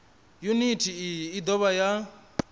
yuniti iyi i dovha ya